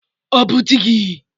Ọ bụ di gị?